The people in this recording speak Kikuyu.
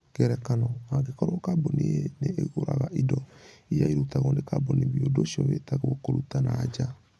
Ngerekano: Angĩkorũo Kambuni A nĩ ĩgũraga indo iria irutagwo nĩ kambuni B, ũndũ ũcio wĩtagwo kũruta na nja.